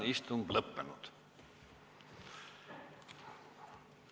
Istungi lõpp kell 20.31.